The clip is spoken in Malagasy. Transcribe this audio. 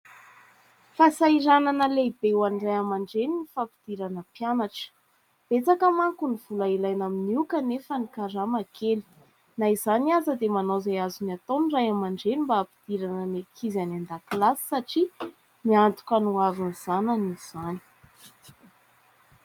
Fasahiranana lehibe ho an' ny raiamandreny ny fampidirana mpianatra. Betsaka manko ny vola ilaina amin' io kanefa ny karama kely. Na izany aza dia manao izay azony atao ny raiamandreny, mba hampidirana ny ankizy any an-dakilasy satria miantoka ny hoavin'ny zanany izany.